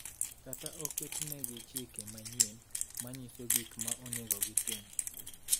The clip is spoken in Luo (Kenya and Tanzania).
kata oketnegi chike manyien manyiso gik ma onego otim